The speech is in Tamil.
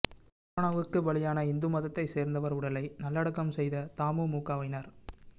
கரோனாவுக்கு பலியான இந்து மதத்தை சோ்ந்தவா் உடலை நலலடக்கம் செய்த தமுமுகவினா்